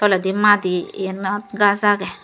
toledi madi yenot gaj agey.